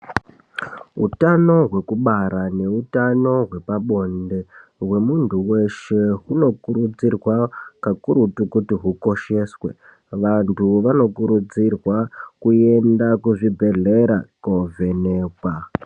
Hutano hwekubara neutano hwepabonde hwemuntu veshe hunokurudzirwa kakurutu kuti hukosheswe. Vantu vanokurudzirwa kuenda kuzvibhedhlera kovhenekwa.